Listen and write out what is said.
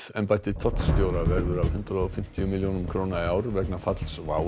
embætti tollstjóra verður af hundrað og fimmtíu milljónum króna í ár vegna falls WOW